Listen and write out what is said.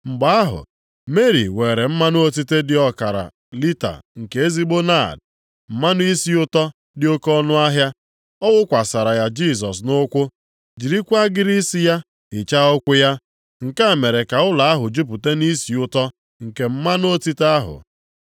Mgbe ahụ, Meri weere mmanụ otite dị ọkara lita nke ezigbo naad, mmanụ isi ụtọ dị oke ọnụahịa, ọ wụkwasara ya Jisọs nʼụkwụ, jirikwa agịrị isi ya hichaa ụkwụ ya. Nke a mere ka ụlọ ahụ jupụta nʼisi ụtọ nke mmanụ otite ahụ.